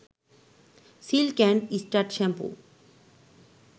silk and straight shampoo